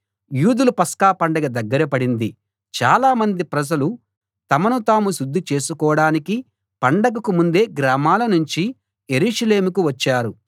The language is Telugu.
యూదుల పస్కా పండగ దగ్గర పడింది చాలా మంది ప్రజలు తమను తాము శుద్ధి చేసుకోడానికి పండగకు ముందే గ్రామాలనుంచి యెరూషలేముకు వచ్చారు